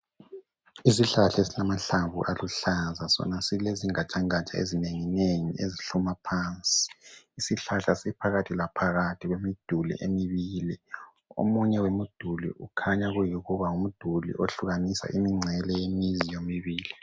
isihlahla esilamahlamvu aluhlaza sona silezingatshangatsha ezinenginengi ezihluma phansi ishlahla siphakathi laphakathi kwemiduli emibili omunye wemiduli ukhanya kuyikuba ngumduli ohlukanisa imincele yemizi yomibili